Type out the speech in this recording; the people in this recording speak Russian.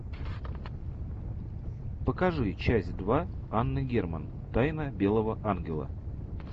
покажи часть два анны герман тайны белого ангела